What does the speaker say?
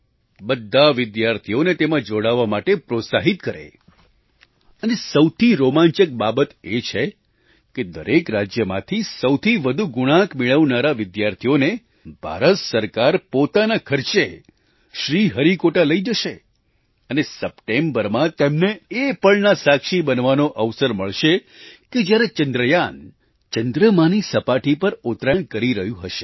બધા વિદ્યાર્થીઓને તેમાં જોડાવા માટે પ્રોત્સાહિત કરે અને સૌથી રોમાંચક બાબત એ છે કે દરેક રાજ્યમાંથી સૌથી વધુ ગુણાંક મેળવનારા વિદ્યાર્થીઓને ભારત સરકાર પોતાના ખર્ચે શ્રીહરિકોટા લઈ જશે અને સપ્ટેમ્બરમાં તેમને એ પળના સાક્ષી બનવાનો અવસર મળશે કે જ્યારે ચંદ્રયાન ચંદ્રમાની સપાટી પર ઉતરાણ કરી રહ્યું હશે